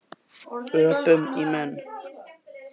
Öpum í menn.